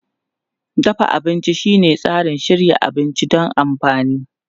Dafa abinci shine tsarin shirya abinci don amfani.